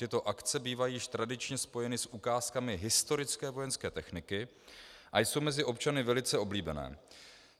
Tyto akce bývají již tradičně spojeny s ukázkami historické vojenské techniky a jsou mezi občany velice oblíbené.